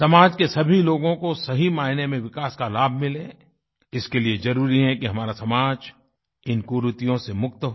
समाज के सभी लोगों को सही मायने में विकास का लाभ मिले इसके लिए ज़रुरी है कि हमारा समाज इन कुरीतियों से मुक्त हो